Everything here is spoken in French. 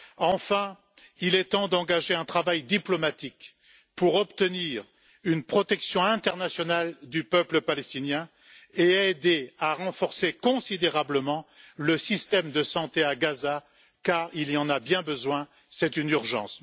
Enfin, il est temps d'engager un travail diplomatique pour obtenir une protection internationale du peuple palestinien et aider à renforcer considérablement le système de santé à Gaza, car il en a bien besoin, c'est une urgence.